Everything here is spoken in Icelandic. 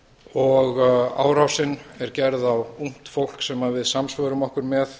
og árásin er gerð á ungt fólk sem við samsvörum okkur með